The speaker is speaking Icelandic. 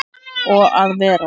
Og að vera